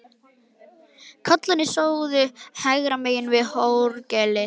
Karlarnir stóðu hægra megin við orgelið.